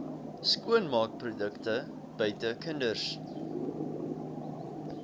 skoonmaakprodukte buite kinders